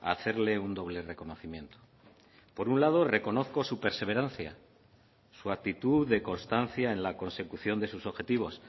a hacerle un doble reconocimiento por un lado reconozco su perseverancia su actitud de constancia en la consecución de sus objetivos